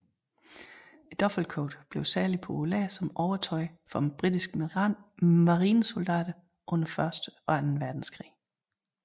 Duffelcoaten blev særligt populær som overtøj for britiske marinesoldater under første og anden verdenskrig